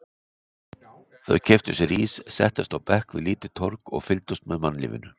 Þau keyptu sér ís, settust á bekk við lítið torg og fylgdust með mannlífinu.